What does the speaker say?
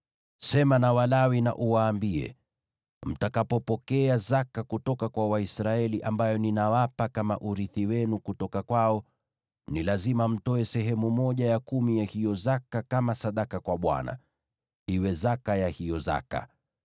“Sema na Walawi na uwaambie: ‘Mtakapopokea zaka kutoka kwa Waisraeli ambayo ninawapa kama urithi wenu kutoka kwao, ni lazima mtoe sehemu ya kumi ya hiyo zaka kama sadaka kwa Bwana , iwe zaka ya hiyo zaka.